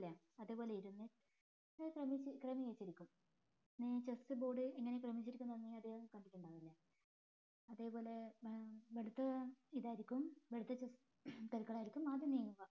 അതേപോലെ ഇരുന്ന് ക്രമിച്ച് ക്രമീകരിച്ച് ഇരിക്കും chessboard എങ്ങനെ ക്രമീകരിച്ച് ഇരിക്കും പറഞ്ഞാല് അതേപോലെ ഇവിടത്തെ ഇതായിരിക്കും ഇവിടത്തെ chess കരു കളായിരിക്കും ആദ്യം നീങ്ങുക